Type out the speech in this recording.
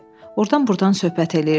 Ordan-burdan söhbət eləyirdilər.